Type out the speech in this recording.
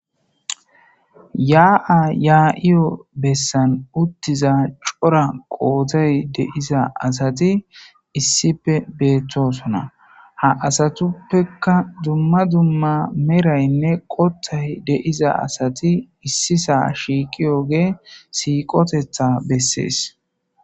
Yaa7a yaa7iyo bessan uttiza cora qootay deiza asati issipe beettosona ha asatuppeka dumma dumma meraynne qothay deiza asati issisa shiiqi oge siiqotetha bessees.